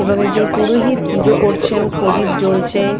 এবং একজন পুরোহিত পূজো করছেন প্রদীপ জ্বলছে।